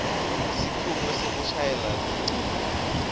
sikhungo sekushayela tincingo